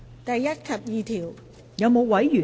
第1及2條。